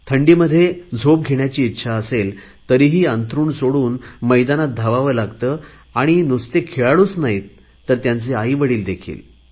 थंडीमध्ये झोप घेण्याची इच्छा असेल तरीही अंथरुण सोडून धावावे लागते आणि नुसते खेळाडू नाही त्यांचे आईवडिल देखील